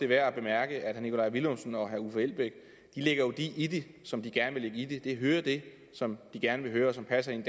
værd at bemærke at herre nikolaj villumsen og herre uffe elbæk jo lægger det i det som de gerne vil lægge i det de hører det som de gerne vil høre og som passer ind